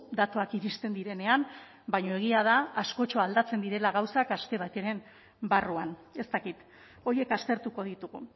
datuak iristen direnean baina egia da askotxo aldatzen direla gauzak aste bateren barruan ez dakit horiek aztertuko ditugu